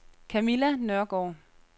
Kamilla Nørgaard